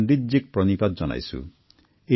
পণ্ডিতজীলৈ মই প্ৰণাম জনাইছো